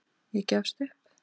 Ég gefst upp